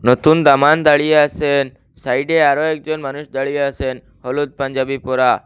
নতুন দামান দাঁড়িয়ে আসেন সাইডে আরো একজন মানুষ দাঁড়িয়ে আসেন হলুদ পাঞ্জাবি পরা।